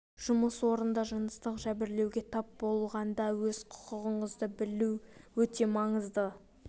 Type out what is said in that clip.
жұмыс орында жыныстық жәбірлеуге тап болғанда өз құқығыңызды білу өте маңызды